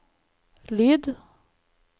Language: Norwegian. lyd